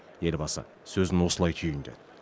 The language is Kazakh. елбасы сөзін осылай түйіндеді